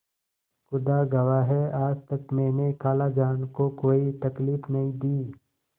खुदा गवाह है आज तक मैंने खालाजान को कोई तकलीफ नहीं दी